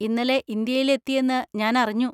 ഇന്നലെ ഇന്ത്യയിൽ എത്തിയെന്ന് ഞാൻ അറിഞ്ഞു.